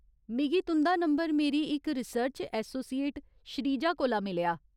मिगी तुं'दा नंबर मेरी इक रिसर्च ऐसोसिएट श्रीजा कोला मिलेआ।